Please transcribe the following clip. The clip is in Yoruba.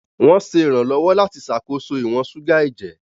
Wọ́n ń ṣe ìrànlọ́wọ́ láti ṣàkóso ìwọ̀n ṣúgà ẹ̀jẹ̀.